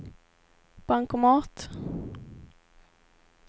bankomat